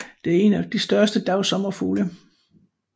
Det er en af de større dagsommerfugle